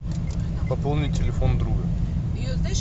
пополни телефон друга